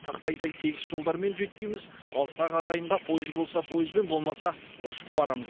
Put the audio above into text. тақтайдай тегіс жолдармен жүйткиміз алыстағы ағайынға пойыз болса пойызбен болмаса ұшып барамыз